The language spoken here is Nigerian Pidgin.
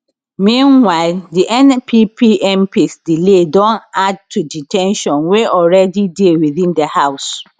meanwhile di npp mps delay don add to di ten sions wey already dey within di house